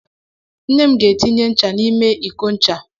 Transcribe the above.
Nne m ga-etinye ncha n'ime iko ncha.